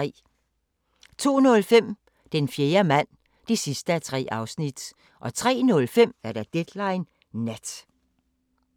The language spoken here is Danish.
02:05: Den fjerde mand (3:3) 03:05: Deadline Nat